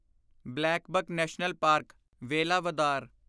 blackbuck National Park, Velavadar